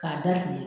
K'a da fili